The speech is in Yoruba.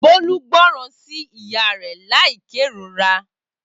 Bolu gboran si iya re lai kerora